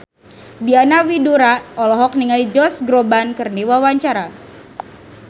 Diana Widoera olohok ningali Josh Groban keur diwawancara